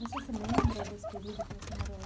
Você se lembra desse período que você morou lá?